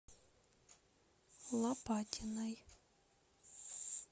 лопатиной